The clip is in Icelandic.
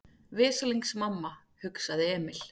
Veslings mamma, hugsaði Emil.